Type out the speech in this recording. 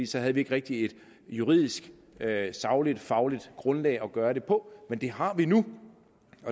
så havde vi ikke rigtig et juridisk sagligt og fagligt grundlag at gøre det på men det har vi nu